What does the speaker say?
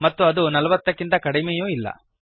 ಮತ್ತು ಅದು ೪೦ ಕ್ಕಿಂತ ಕಡಿಮೆಯೂ ಇಲ್ಲ